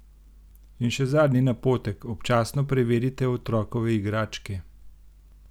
In še zadnji napotek: "Občasno preverite otrokove igračke.